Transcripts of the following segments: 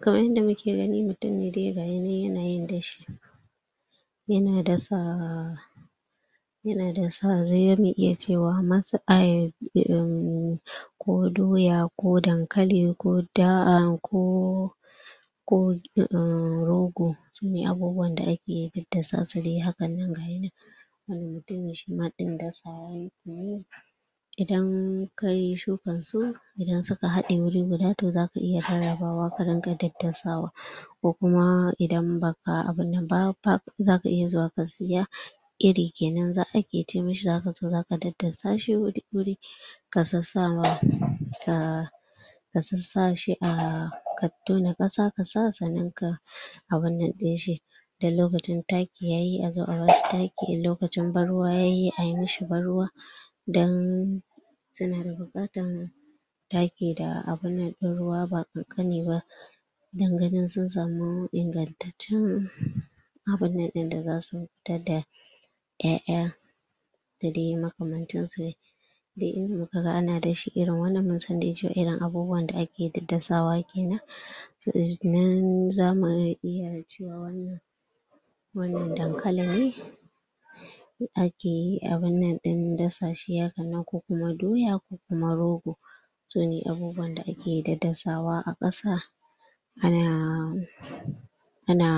Kamar yanda muke gani mutumi dai ga yana nan yana yin da shi. Yana dasa yana dasa za mu iya cewa masa ai ehmmm ko doya ko dankali ko da aamm ko ko ammm rogo. Shi ne abubuwan da ake daddasa su dai hakan nan dai har mutumin shi ma ɗin dan yake yi. Idan kayi shukan su idan suka haɗe wuri guda to za ka iya rarrabawa ka dinga daddasawa. Ko kuma idan baka abun nan ba ba za ka iya zuwa ka siya iri kenan za a ce mishi za ka za ka daddasa shi wuri ka sassawa ahh ka sassa shi a tono ƙasa sannan ka abun nan ɗin shi idan lokacin ta yi a zo a ba shi taki in lokacin ban ruwa ya yi a yi mishi ban ruwa. Idan ana da buƙatan taki da abun nan ɗin ruwa ba ƙanƙani ba dan ganin sun samu tun abun nan ɗin da za su fita da ƴaƴa da dai makamantan su. Duk inda muka ga ana da shi irin wannan mun san dai cewa irin abubuwan da ake dasawa kenan za mu iya cewa wannan wannan dankali ne ake abun nan ɗin da shi hakan nan ko kuma doya ko rogo. Sune abubuwan da ake daddasawa a ƙasa ana ana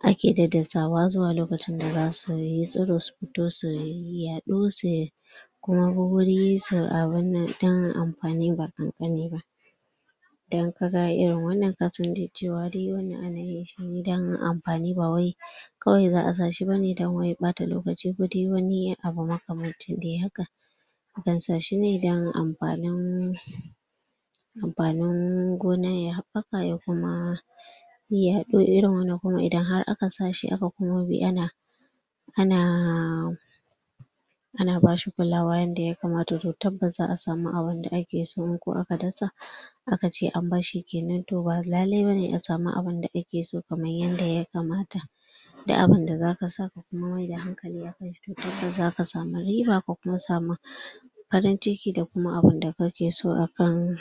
ake daddasawa zuwa lokacin da za su yi tsiro su fito su yi yaɗo su su abun nan don amfani ba ƙanƙani ba. Idan ka ga irin wannan ka san dai cewa wannan ana yi ne don amfani ba wai kawai za a sa shi bane don wai ɓata lokaci ko dai wani abu makamanci dai haka. Akan sa shi ne don amfanin amfanin gona ya haɓɓaka ya kuma yaɗo irin wannan kuma idan har aka sa shi aka kuma bi ana ana ana ba shi kulawa yanda ya kamata tabbas za a samu abun da ake so in kuwa aka dasa aka ce a barshi kenan to ba lalle bane a samu abun da ake so kamar yanda ya kamata. Dun abun da za ka sa ka kuma maida hankali haka za ka samu riba ka kuma samu farin ciki da kuma abun da kake so akan.